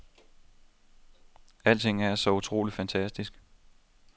Alting er så utrolig fantastisk.